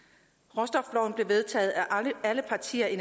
råstofloven blev enstemmigt vedtaget af alle partier i